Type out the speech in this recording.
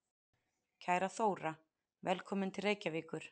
Kæra Þóra. Velkomin til Reykjavíkur.